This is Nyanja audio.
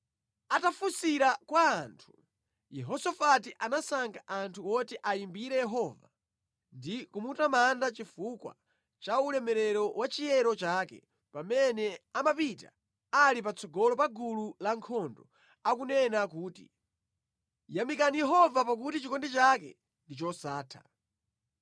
Atafunsira kwa anthu, Yehosafati anasankha anthu oti ayimbire Yehova ndi kumutamanda chifukwa cha ulemerero wa chiyero chake pamene amapita ali patsogolo pa gulu la ankhondo, akunena kuti: “Yamikani Yehova pakuti chikondi chake ndi chosatha.”